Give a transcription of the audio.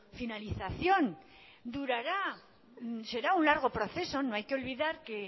finalización durará será un largo proceso no hay que olvidar que